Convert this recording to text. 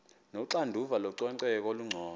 onoxanduva lococeko olungcono